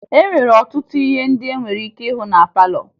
E nwere ọtụtụ ihe ndị e nwere ike ịhụ na palọ